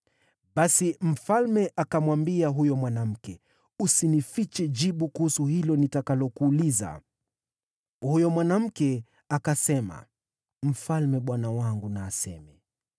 Basi mfalme akamwambia huyo mwanamke, “Usinifiche jibu kuhusu hilo nitakalokuuliza.” Huyo mwanamke akasema, “Mfalme bwana wangu na aseme.”